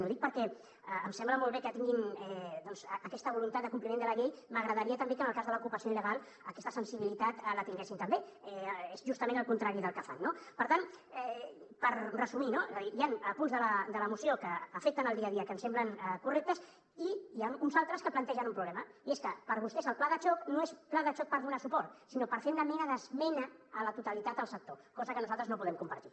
ho dic perquè em sembla molt bé que tinguin doncs aquesta voluntat de compliment de la llei m’agradaria també que en el cas de l’ocupació il·legal aquesta sensibilitat la tinguessin també és justament el contrari del que fan no per tant per resumir no hi han punts de la moció que afecten el dia a dia que ens semblen correctes i n’hi han uns altres que plantegen un problema i és que per a vostès el pla de xoc no és un pla de xoc per donar suport sinó per fer una mena d’esmena a la totalitat al sector cosa que nosaltres no podem compartir